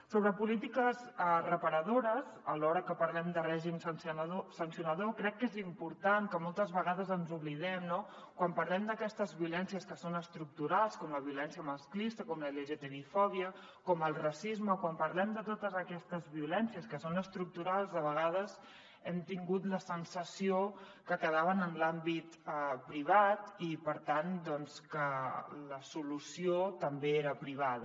sobre polítiques reparadores alhora que parlem de règim sancionador crec que és important que moltes vegades ens n’oblidem no quan parlem d’aquestes violències que són estructurals com la violència masclista com la lgtbi fòbia com el racisme a vegades hem tingut la sensació que quedaven en l’àmbit privat i per tant doncs que la solució també era privada